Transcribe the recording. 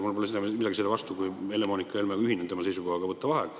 Ja mul pole midagi selle vastu, kui Helle-Moonika Helme – ma ühinen tema seisukohaga – võtab vaheaja.